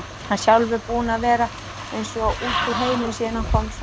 Hann sjálfur búinn að vera eins og út úr heiminum síðan hann kom frá